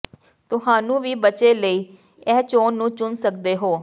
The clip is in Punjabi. ਤੁਹਾਨੂੰ ਵੀ ਬੱਚੇ ਲਈ ਇਹ ਚੋਣ ਨੂੰ ਚੁਣ ਸਕਦੇ ਹੋ